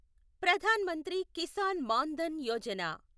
Pradhan Mantri Kisan Maan Dhan Yojana